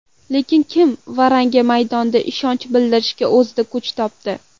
Lekin, kim Varanga maydonda ishonch bildirishga o‘zida kuch topdi.